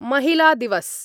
महिलादिवस